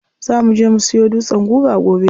Za muje mu siyo dutsen guga gobe.